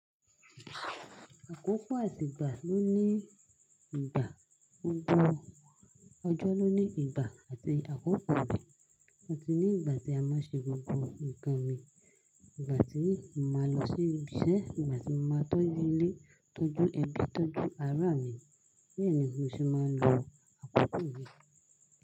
Àkókò àtijọ́ ló ní ìgbà, òjò ló ní ìgbà àti àkókò rẹ̀. A ti ní ìgbà tí a máa ṣe gbogbo nǹkan mi. Ìgbà tí mo máa lọ sí ibiṣẹ́, ìgbà tí mo máa tọ́jú ilé, tọ́jú ẹbí, tọ́jú ará mi. Bẹ́ẹ̀ ni mo sì máa ń lo àkókò mi.